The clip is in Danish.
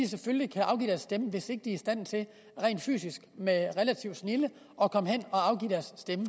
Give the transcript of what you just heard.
selvfølgelig kan afgive deres stemme hvis ikke i stand til rent fysisk med relativ snilde at komme hen og afgive deres stemme